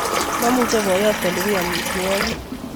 Momuche boyot kolugui omitwo'kik